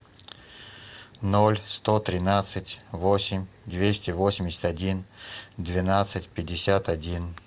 ноль сто тринадцать восемь двести восемьдесят один двенадцать пятьдесят один